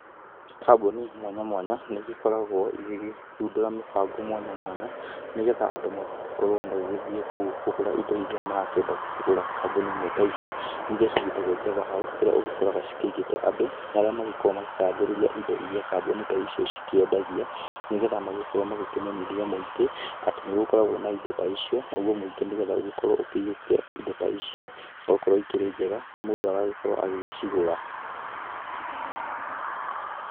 Kambuni mwanya mwanya nĩ igĩkoragwo igĩthundũra mĩbango mwanya mwanya nĩgetha andũ magĩgĩkorwo magĩthiĩ kũu kũgũra indo irĩa marakĩenda gũkĩgũra. Kambuni ĩmwe ta ici nĩ irĩa cigĩtagwo Java House kũrĩa ũgĩkoraga cigĩte andũ, arĩa magĩkoragwo makĩgathĩrĩria indo irĩa kambuni ta icio cikĩendagia, nĩgetha magĩkorwo makĩmenyithia mũingĩ atĩ nĩ gĩkoragwo na indo ta icio naguo mũingĩ nĩgetha ũgĩkorwo ũgĩhiũkia indo ta icio nĩgũkorwo ikĩrĩ njega na mũndũ agakorwo agĩgĩcigũra.